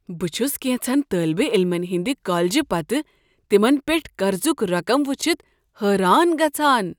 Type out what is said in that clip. بہٕ چھُس كینژن طٲلبہ عٔلمن ہٕنٛدِ کالجہ پتہٕ تمن پٮ۪ٹھ قرضُک رقم وٕچھتھ حٲران گژھان۔